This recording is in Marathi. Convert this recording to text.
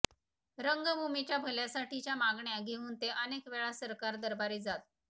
रंगभूमीच्या भल्यासाठीच्या मागण्या घेऊन ते अनेक वेळा सरकार दरबारी जात